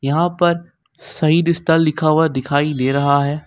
नाव पर शहीद स्थल लिखा हुआ दिखाई दे रहा है।